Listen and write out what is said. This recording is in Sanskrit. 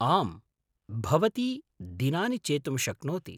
आम्, भवती दिनानि चेतुं शक्नोति।